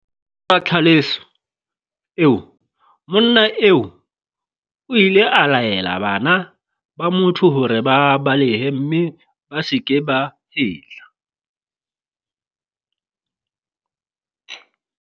Tlhaselo eo, monna eo o ile a laela bana ba motho hore ba balehe mme ba se ke ba hetla.